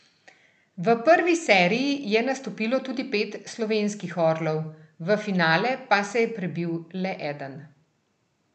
V prvi seriji je nastopilo tudi pet slovenskih orlov, v finale pa se je prebil le eden.